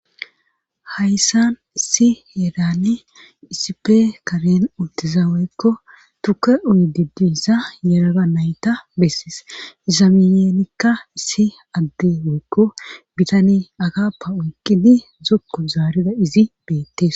hayssan issi heeran isipe kaben untiza woykko tukke uyi didiissa yerara nayta bessis izamiyeenikka si adde woykko bitani agappa oyqqini zokko zaarida izi beettes